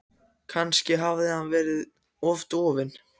Kannski hafði hann verið of dofinn.